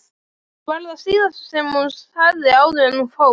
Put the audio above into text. var það síðasta sem hún sagði áður en hún fór.